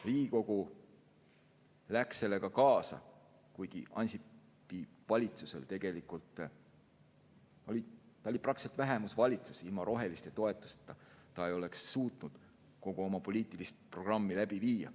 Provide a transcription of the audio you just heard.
Riigikogu läks sellega kaasa, kuigi Ansipi valitsus oli praktiliselt vähemusvalitsus, ilma roheliste toetuseta ei oleks ta suutnud kogu oma poliitilist programmi läbi viia.